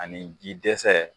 Ani ji dɛsɛ